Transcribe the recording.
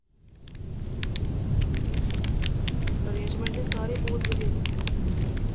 arrangement ਸਾਰੇ ਬਹੁਤ ਵਧੀਆ ਕਿਤੇ ਨੇ ਸੀ ਇਹਨਾ ਨੇ